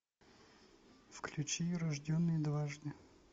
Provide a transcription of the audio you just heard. включи рожденный дважды